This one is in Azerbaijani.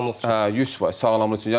Hə, 100% sağlamlıq üçün.